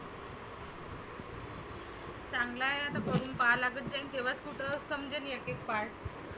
चांगलं आहे आता खोलुन पहा लागेल एक दिवस तर समजेन एक एक part